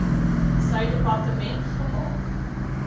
sy departement gemaak